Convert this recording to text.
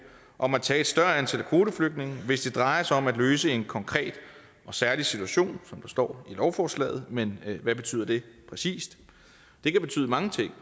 om at tage et større antal kvoteflygtninge hvis det drejer sig om at løse en konkret og særlig situation som der står i lovforslaget men hvad betyder det præcis det kan betyde mange ting